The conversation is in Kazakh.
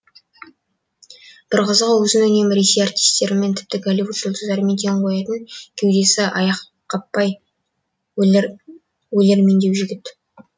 бір қызығы өзін үнемі ресей артистерімен тіпті голливуд жұлдыздарымен тең қоятын кеудесі аяққаптай өлермендеу жігіт